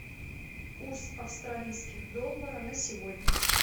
курс австралийских доллара на сегодня